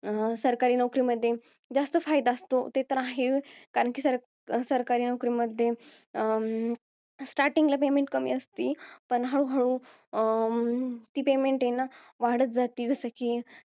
सरकारी नोकरीमध्ये जास्त फायदा असतो. ते तर आहेच. कारण कि सरका~ सरकारी नोकरीमध्ये अं starting ला payment कमी असती, पण हळूहळू अं ती payment आहे न ती वाढत जाती. जसं कि,